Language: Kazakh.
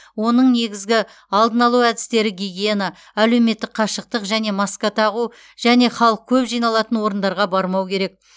оның негізгі алдын алу әдістері гигиена әлеуметтік қашықтық және маска тағу және халық көп жиналатын орындарға бармау керек